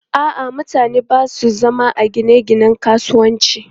A'a, mutane ba sa zama a gine-ginen kasuwanci.